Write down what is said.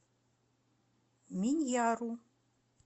миньяру